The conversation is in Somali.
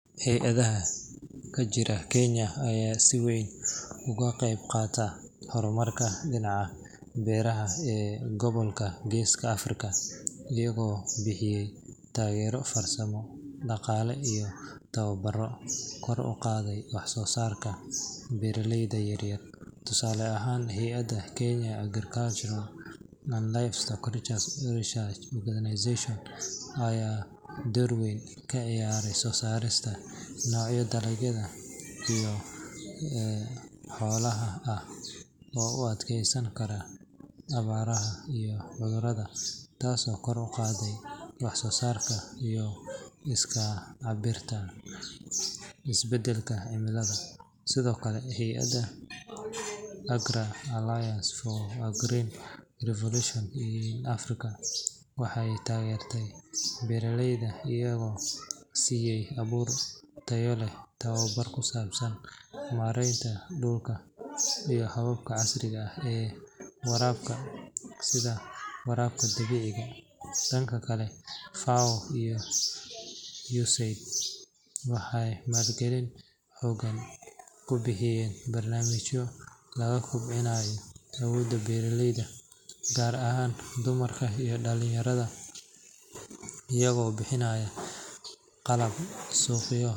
Hay’adaha ka jira Kenya ayaa si weyn uga qeyb qaatay horumarka dhinaca beeraha ee gobolka Geeska Afrika, iyagoo bixiyay taageero farsamo, dhaqaale iyo tababarro kor u qaaday wax soo saarka beeraleyda yar yar. Tusaale ahaan, hay’adda Kenya Agricultural and Livestock Research Organization (KALRO) ayaa door weyn ka ciyaartay soo saarista noocyo dalagyada iyo xoolaha ah oo u adkeysan kara abaaraha iyo cudurrada, taasoo kor u qaaday wax-soo-saarka iyo iska caabinta isbedelka cimilada. Sidoo kale, hay’adda AGRA (Alliance for a Green Revolution in Africa) waxay taageertay beeraleyda iyagoo siiyay abuur tayo leh, tababar ku saabsan maaraynta dhulka iyo hababka casriga ah ee waraabka sida waraabka dhibicda. Dhanka kale, FAO iyo USAID waxay maalgelin xoogan ku bixiyeen barnaamijyo lagu kobcinayo awooda beeraleyda, gaar ahaan dumarka iyo dhalinyarada, iyagoo bixinaya qalab, suuqyo.